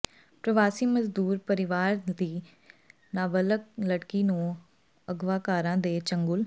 ਪ੍ਰਵਾਸੀ ਮਜ਼ਦੂਰ ਪਰਿਵਾਰ ਦੀ ਨਾਬਾਲਗ ਲੜਕੀ ਨੂੰ ਅਗਵਾਕਾਰਾਂ ਦੇ ਚੁੰਗਲ